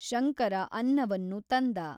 ಶಂಕರ ಅನ್ನವನ್ನು ತಂದ.